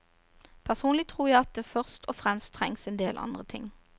Personlig tror jeg at det først og fremst trengs en del andre ting.